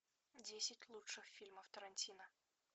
десять лучших фильмов тарантино